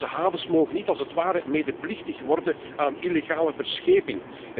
Onze havens mogen niet als het ware medeplichtig worden aan illegale verscheping.